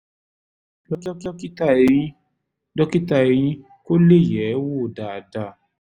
lọ rí dókítà eyín dókítà eyín kó lè yẹ̀ ẹ́ wò dáadáa